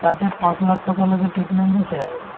তাতে পাঁচ লাখ টকালৈকে treatment দিছে আৰু